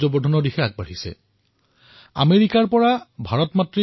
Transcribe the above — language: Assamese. কিছুদিন পূৰ্বে মই সংবাদ মাধ্যমত শ্ৰীমান যোগেশ সৈনী আৰু তেওঁৰ দলটোৰ কাহিনী প্ৰত্যক্ষ কৰিছিলো